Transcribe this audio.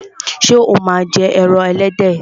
Ṣé o máa ń jẹ ẹran ẹlẹ́dẹ̀?